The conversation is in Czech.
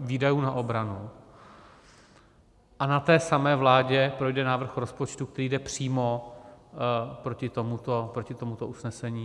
výdajů na obranu, a na té samé vládě projde návrh rozpočtu, který jde přímo proti tomuto usnesení.